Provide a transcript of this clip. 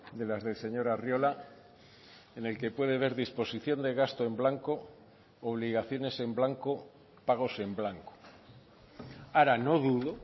de las del señor arriola en el que puede ver disposición de gasto en blanco obligaciones en blanco pagos en blanco ahora no dudo